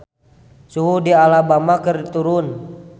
Suhu di Alabama keur turun